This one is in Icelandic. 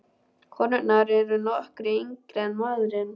Konurnar eru nokkru yngri en maðurinn.